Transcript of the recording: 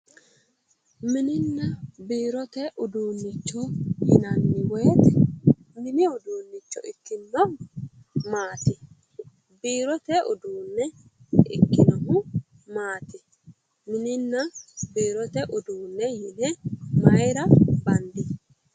Mininna biirote uduunnicho yinanni woyiite mini uduunnicho ikkinnohu maati? biirote uduunne ikkinohu maati mininna biirote uduunne yine mayira bandi?